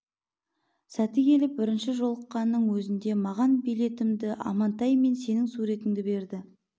сәті келіп бірінші жолыққанның өзінде маған билетімді амантай мен сенің суретіңді берді